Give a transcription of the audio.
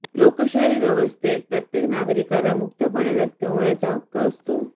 लोकशाही व्यवस्थेत प्रत्येक नागरिकाला मुक्तपणे व्यक्त होण्याचा हक्क असतो